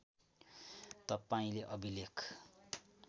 तपाईँले अभिलेख